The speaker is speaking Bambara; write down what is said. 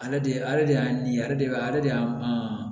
Ale de ale de y'a miiri ale de b'a ale de y'a